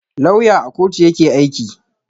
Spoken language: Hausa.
Lauya à kotu yake aiki.